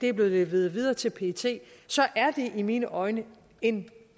er blevet leveret videre til pet så er det i mine øjne en